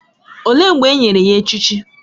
Olee mgbe e nyere ya echichi?